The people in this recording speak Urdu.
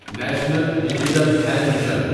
national Digital Health mission